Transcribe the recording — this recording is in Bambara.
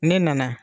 Ne nana